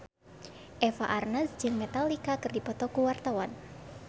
Eva Arnaz jeung Metallica keur dipoto ku wartawan